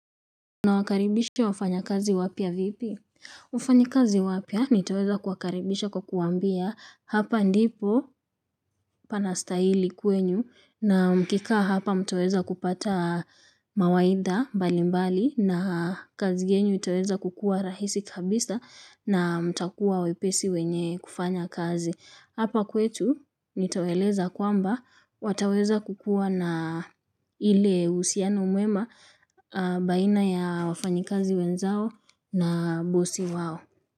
Nawakaribisha wafanya kazi wapya vipi? Wafanyi kazi wapya nitaweza kuakaribisha kwa kuwaambia hapa ndipo pana stahili kwenu na mkikaa hapa mtaweza kupata mawaidha nbalimbali na kazi yenu itaweza kukua rahisi kabisa na mtakuwa wepesi wenye kufanya kazi. Hapa kwetu nitawaeleza kwamba wataweza kukua na ile uhusiano mwema baina ya wafanyikazi wenzao na bosi wao.